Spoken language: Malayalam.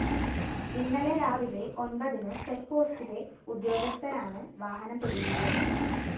ഇന്നലെ രാവിലെ ഒന്‍പതിനു ചെക്‌പോസ്റ്റില ഉദ്യോഗസ്ഥഥരാണ് വാഹനം പിടികൂടിയത്